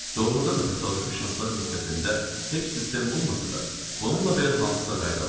Doğrudan da təsadüfi şanslar müddətində heç sistem olmasa da, bununla belə hansısa qayda var.